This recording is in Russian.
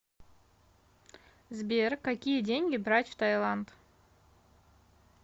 сбер какие деньги брать в таиланд